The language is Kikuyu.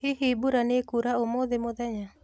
Hihi mbura nĩkura ũmũthĩ mũthenya?